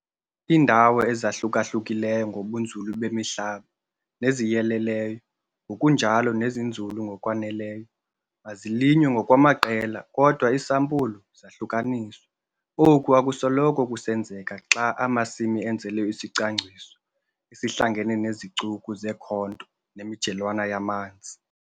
Iindawo ezahluka-hlukileyo ngobunzulu bemihlaba neziyeleleyo ngokunjalo nezinzulu ngokwaneleyo mazilinywe ngokwamaqela kodwa iisampulu zahlukaniswe. Oku akusoloko kusenzeka xa amasimi enzelwe isicwangciso esihlangene nezicuku zeekhonto nemijelwana yamanzi.